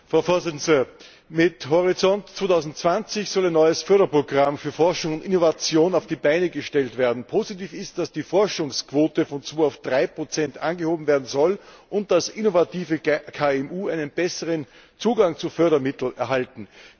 Frau Präsidentin! Mit Horizont 2020 soll ein neues Förderprogramm für Forschung und Innovation auf die Beine gestellt werden. Positiv ist, dass die Forschungsquote von 2 auf 3 angehoben werden soll, und dass innovative KMU einen besseren Zugang zu Fördermitteln erhalten.